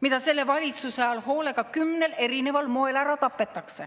mida selle valitsuse ajal hoolega kümnel eri moel ära tapetakse.